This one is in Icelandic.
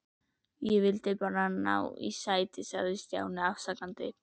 Ég vildi bara ná í sæti sagði Stjáni afsakandi.